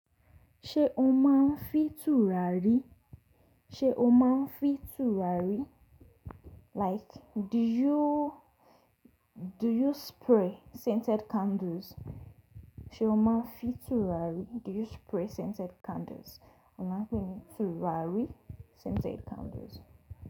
Ṣé o máa ń fi tùràrí? Ṣé o máa ń fi tùràrí? Like do you, do you spray scented candles? Ṣé o máa ń fi tùràrí? Do you spray scented candles? Ò máa ń fi tùràrí scented candles.